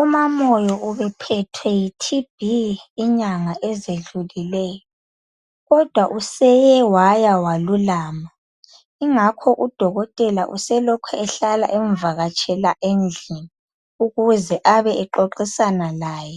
UmaMoyo ubephethwe yiTB inyanga ezidlulileyo kodwa useye waya walulama yingakho udokotela use lokhu ehlala emvakatshela endlini ukuze abe exoxisana laye